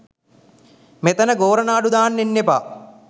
මෙතන ගෝරනාඩු දාන්න එන්න එපා